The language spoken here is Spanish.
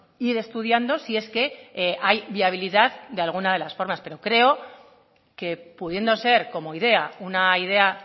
ir estudiando si es que hay viabilidad de algunas de las formas pero creo que pudiendo ser como idea una idea